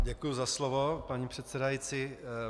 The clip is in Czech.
Děkuji za slovo, paní předsedající.